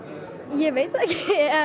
ég veit það ekki